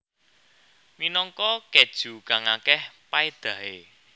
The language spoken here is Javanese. Minangka keju kang akeh paedahe